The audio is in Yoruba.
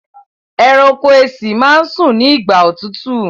ẹranko èsì má sùn ní igbà òtútù.